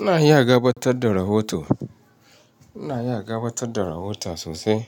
Ina iya gabatar da rahoto, ina iya gabatar da rahota sosai.